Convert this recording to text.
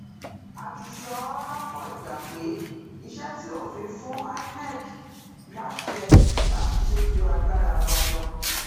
a ti sọ ọ lọpọ ìgbà pé iṣẹ tí òfin fún inec láṣẹ láti ṣe ju agbára wa lọ